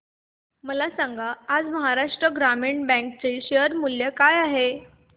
मला सांगा आज महाराष्ट्र ग्रामीण बँक चे शेअर मूल्य काय आहे